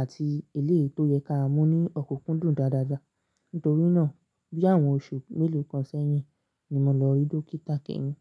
àti eléyìí tó yẹ ká mú ní ọ̀kúkúndùn dáadáa. Nítorínà bí àwọn oṣù mélòó kan sẹ́yìn ni mo lọ rí dókítà kẹ́yìn.